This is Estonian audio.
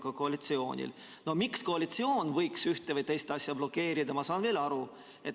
No sellest, miks koalitsioon võiks ühte või teist asja blokeerida, ma saan veel aru.